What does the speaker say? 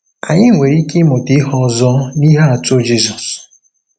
Anyị nwere ike ịmụta ihe ọzọ n’ihe atụ Jizọs.